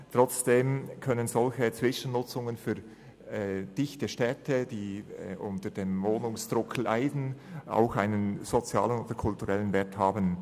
Trotzdem können solche Zwischennutzungen für dichte Städte, die unter dem Wohnungsdruck leiden, auch einen sozialen oder kulturellen Wert haben.